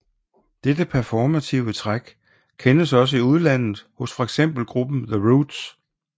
Dette performative træk kendes også i udlandet hos for eksempel gruppen The Roots